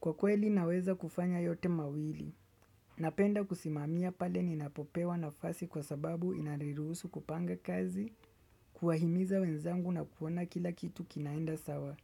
Kwa kweli naweza kufanya yote mawili, napenda kusimamia pale ninapopewa nafasi kwa sababu inariruhusu kupanga kazi, kuahimiza wenzangu na kuona kila kitu kinaenda sawa.